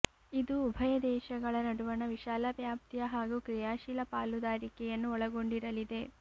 ಇದು ಉಭಯ ದೇಶಗಳ ನಡುವಣ ವಿಶಾಲ ವ್ಯಾಪ್ತಿಯ ಹಾಗೂ ಕ್ರಿಯಾಶೀಲ ಪಾಲುದಾರಿಕೆಯನ್ನು ಒಳಗೊಂಡಿರಲಿದೆ